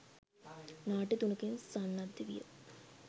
නාට්‍ය තුනකින් සන්නද්ධ විය